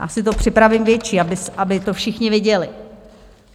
Já si to připravím větší, aby to všichni viděli.